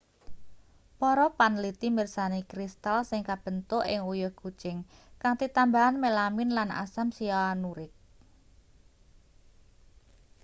para panliti mirsani kristal sing kabentuk ing uyuh kucing kanthi tambahan melamin lan asam sianurik